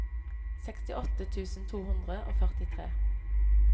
sekstiåtte tusen to hundre og førtitre